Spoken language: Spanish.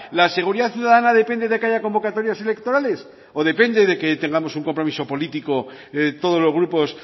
la seguridad ciudadana depende de que haya convocatorias electorales o depende de que tengamos un compromiso político de todos los grupos